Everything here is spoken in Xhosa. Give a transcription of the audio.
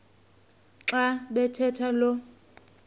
xa bathetha lo